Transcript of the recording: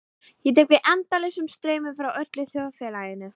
Ég tek við endalausum straumum frá öllu þjóðfélaginu.